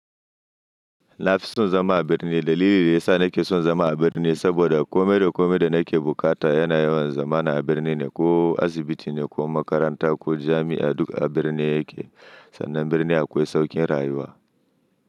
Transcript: Na fi son zama a birni. Dalili da ya sa nake son zama a birni saboda kome da kome da nake bukata yana yawan zama a birni ne, ko asibiti ne ko makaranta ko jami'a duk a birni yake. Sannan birni akwai saukin rayuwa.